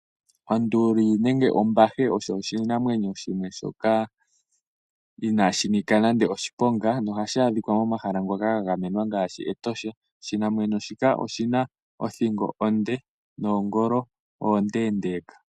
Onduli nenge ombahe osho oshinamwenyo shoka inaashi nika nande oshiponga, nohashi adhika momahala ngoka ga gamenwa ngaashi Etosha. Oshinamwenyo shika oshina othingo onde, nomagulu omaleeleka.